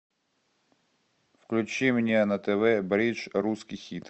включи мне на тв бридж русский хит